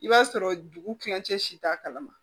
I b'a sɔrɔ dugu kilancɛ si t'a kalama